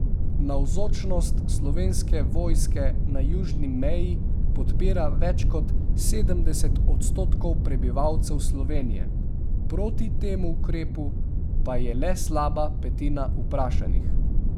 Navzočnost Slovenske vojske na južni meji podpira več kot sedemdeset odstotkov prebivalcev Slovenije, proti temu ukrepu pa je le slaba petina vprašanih.